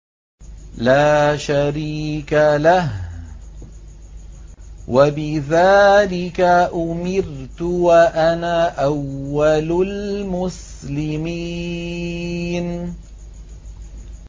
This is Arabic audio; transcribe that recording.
لَا شَرِيكَ لَهُ ۖ وَبِذَٰلِكَ أُمِرْتُ وَأَنَا أَوَّلُ الْمُسْلِمِينَ